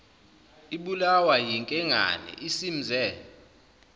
ibulawa yinkengane isimze